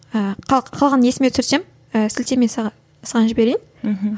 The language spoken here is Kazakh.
ыыы қалған есіме түсірсем ііі сілтеме саған саған жіберейін мхм